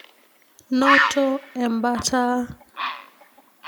Noto embataa.